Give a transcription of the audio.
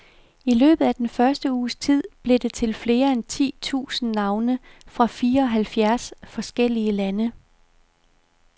I løbet af den første uges tid blev det til flere end ti tusind navne fra fireoghalvfjerds forskellige lande.